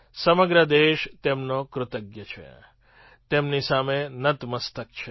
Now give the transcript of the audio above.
સમગ્ર દેશ તેમનો કૃતજ્ઞ છે તેમની સામે નત મસ્તક છે